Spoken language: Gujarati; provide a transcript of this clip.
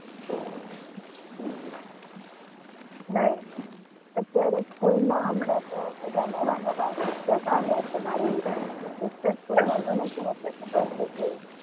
નવીનતા અત્યારે school માં હમણાં તો બધા નવા નવા એક જ sister school માં ભણે છે. ને એટલે ખબર જ હશે.